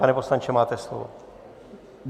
Pane poslanče, máte slovo.